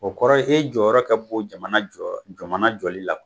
O kɔrɔ ye e jɔyɔrɔ ka bon jamana jɔyɔrɔ jamana jɔlila